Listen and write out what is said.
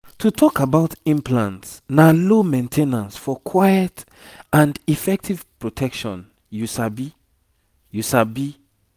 to talk about implants na low main ten ance for quiet and effective protection you sabi you sabi